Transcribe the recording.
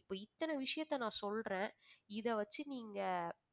இப்ப இத்தனை விஷயத்த நான் சொல்றேன் இதை வச்சு நீங்க